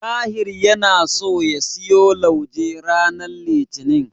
Tahir yana so ya siyo lauje ranar Litinin.